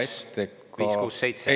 567.